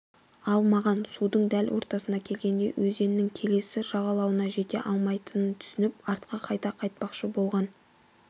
алмаған судың дәл ортасына келгенде өзеннің келесі жағалауына жете алмайтынын түсініп артқа қайта қайтпақшы болған